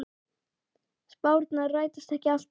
Spárnar rætast ekki alltaf.